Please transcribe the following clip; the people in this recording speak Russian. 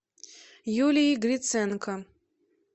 юлией гриценко